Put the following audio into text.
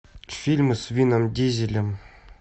фильмы с вином дизелем